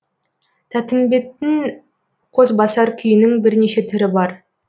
тәттімбеттің қосбасар күйінің бірнеше түрі бар